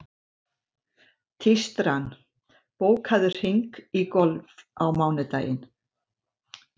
Tístran, bókaðu hring í golf á mánudaginn.